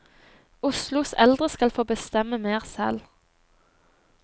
Oslos eldre skal få bestemme mer selv.